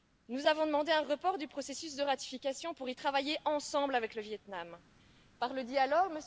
nous avons demandé un report du processus de ratification pour y travailler ensemble avec le Viêt Nam, par le dialogue.